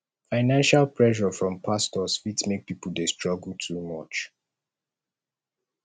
financial pressure from pastors fit make pipo dey struggle too much